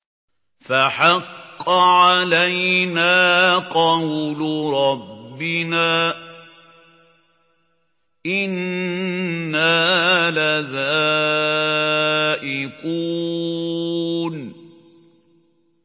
فَحَقَّ عَلَيْنَا قَوْلُ رَبِّنَا ۖ إِنَّا لَذَائِقُونَ